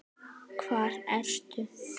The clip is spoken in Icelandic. Hvar ertu?